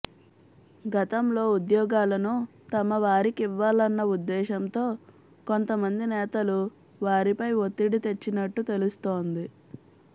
గతంలో ఉద్యోగాలను తమ వారికివ్వాలన్న ఉద్ధేశంతో కొంత మంది నేతలు వారిపై ఒత్తిడి తెచ్చినట్టు తెలుస్తోంది